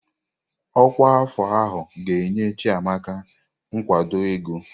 Ọkwa afọ ahụ ga-enye Chiamaka nkwado ego.